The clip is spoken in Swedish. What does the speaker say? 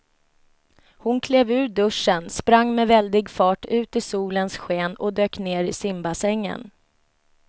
Hon klev ur duschen, sprang med väldig fart ut i solens sken och dök ner i simbassängen.